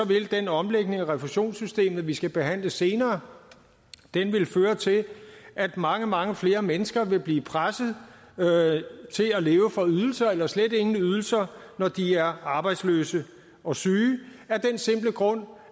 vil den omlægning af refusionssystemet vi skal behandle senere føre til at mange mange flere mennesker vil blive presset til at leve for ydelser eller slet ingen ydelser når de er arbejdsløse og syge af den simple grund